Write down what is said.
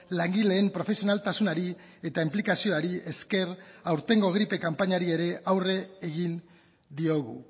langileen profesionaltasunari eta inplikazioari esker aurtengo gripe kanpainari ere aurre egin diogu